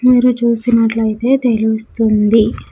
మీరు చూసినట్లైతే తెలుస్తుంది.